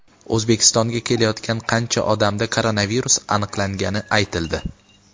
O‘zbekistonga kelayotgan qancha odamda koronavirus aniqlangani aytildi.